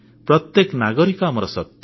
ପ୍ରତ୍ୟେକ ନାଗରିକ ଆମ ଶକ୍ତି